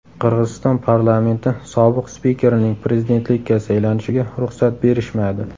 Qirg‘iziston parlamenti sobiq spikerining prezidentlikka saylanishiga ruxsat berishmadi.